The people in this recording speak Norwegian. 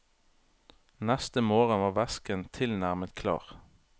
Neste morgen var væsken tilnærmet klar.